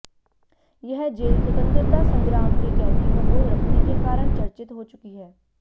यह जेल स्वतंत्रता संग्राम के कैदियों को रखने के कारण चर्चित हो चुकी है